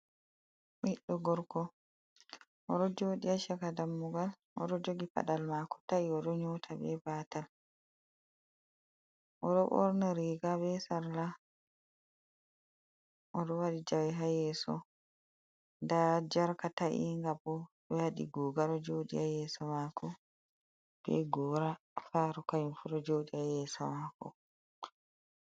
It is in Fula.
Ɓiddo gorko odo joɗi ha shaka dammugal, odo jogi paɗalmako ta, i, odo nyota be batal, oɗo ɓorni riga be sarla, odo waɗi jawe ha yeso, nda jarka ta, inga bo ɓe waɗi guga do joɗi ha yeso mako, be gora kanyum fu do joɗi ha yeso mako.